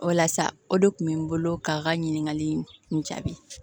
O la sa o de kun bɛ n bolo k'a ka ɲininkali in kun jaabi